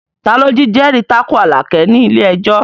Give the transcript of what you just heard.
Ta ló jẹ́rìí tako Àlàkẹ́ ní ilé ẹjọ́?